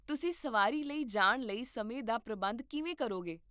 ਤੁਸੀਂ ਸਵਾਰੀ ਲਈ ਜਾਣ ਲਈ ਸਮੇਂ ਦਾ ਪ੍ਰਬੰਧਨ ਕਿਵੇਂ ਕਰੋਗੇ?